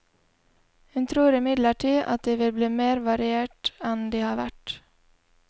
Hun tror imidlertid at de vil bli mer variert enn de har vært.